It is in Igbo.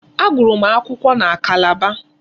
Agụrụ m akwụkwọ na Calabar.